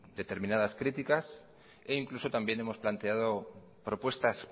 determinadas críticas e incluso también hemos planteado propuestas